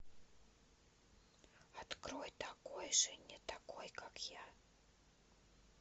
открой такой же не такой как я